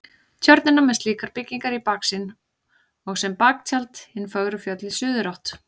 Tjörnina með slíkar byggingar í baksýn og sem baktjald hin fögru fjöll í suðurátt.